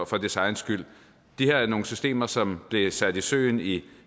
for dets egen skyld det her er nogle systemer som blev sat i søen i